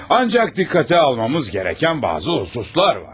Ancak dikkate almamız gereken bazı hususlar var.